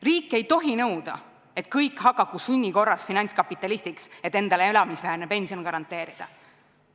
Riik ei tohi nõuda, et kõik hakaku sunni korras finantskapitalistiks, et endale elamisväärne pension garanteerida.